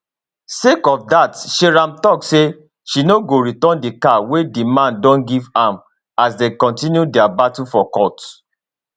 sake of dat seyram tok say she no go return di car wey di man don give am as dem kontinu dia battle for court